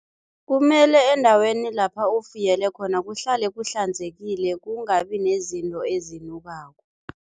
Kumele endaweni lapha ufuyele khona kuhlale kuhlanzekile, kungabi nezinto ezinukako.